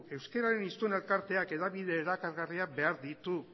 euskeraren hiztun elkarteak hedabide erakargarriak behar ditu